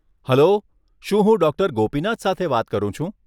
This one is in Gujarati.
હેલો, શું હું ડોક્ટર ગોપીનાથ સાથે વાત કરું છું?